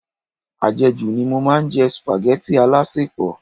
Ajeju ni mo máa ń jẹ supageti alasepo.